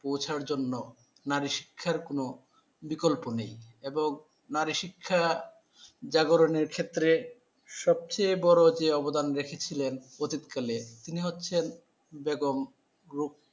পৌঁছার জন্য নারী শিক্ষার কোন বিকল্প নেই এবং নারীশিক্ষা জাগরণের ক্ষেত্রে সবচেয়ে বড় যে অবদান রেখেছিলেন অতীত কালে তিনি হচ্ছেন। বেগম